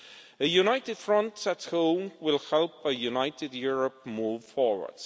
A united front at home will help a united Europe move forward.